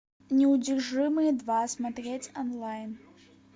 неудержимые два смотреть онлайн